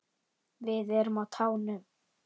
Við erum á tánum.